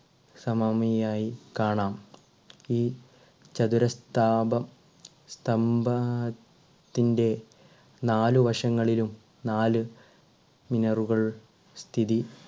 സമാമിയായി കാണാം. ഈ ചതുര സ്ഥാപം സ്തംഭത്തിന്റെ നാലുവശങ്ങളിലും നാല് മിനറുകൾ സ്ഥിതി